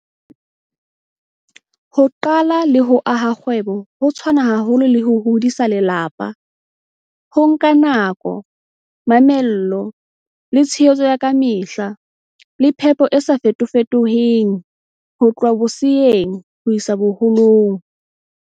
Ho qala le ho aha kgwebo ho tshwana haholo le ho hodisa lelapa. Ho nka nako, mamello, le tshehetso ya kamehla le phepo e sa fetofetong ho tloha boseyeng ho isa boholong.